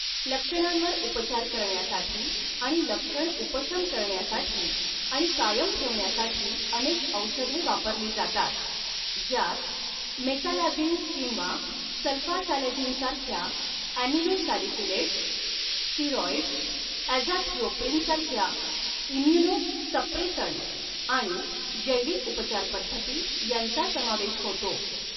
लक्षणांवर उपचार करण्यासाठी आणि लक्षण उपशम करण्यासाठी आणि कायम ठेवण्यासाठी अनेक औषधे वापरली जातात, ज्यात मेसालाझिन किंवा सल्फासॅलाझिन सारख्या ॲमिनोसॅलिसिलेट्स, स्टिरॉइड्स, ॲझाथिओप्रिन सारख्या इम्युनोसप्रेसंट्स आणि जैविक उपचारपद्धती यांचा समावेश होतो.